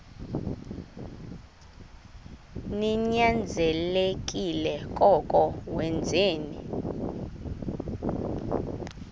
ninyanzelekile koko wenzeni